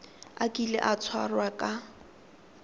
a kile a tshwarwa ka